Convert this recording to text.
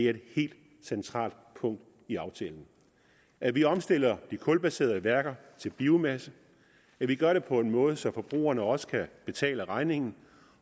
er et helt centralt punkt i aftalen at vi omstiller de kulbaserede værker til biomasse at vi gør det på en måde så forbrugerne også kan betale regningen